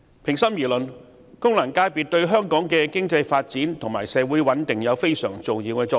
平心而論，功能界別對香港的經濟發展和社會穩定有非常重要的作用。